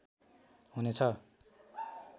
हुने छ